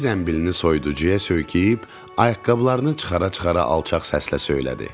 İri zənbilini soyuducuya söykəyib, ayaqqabılarını çıxara-çıxara alçaq səslə söylədi.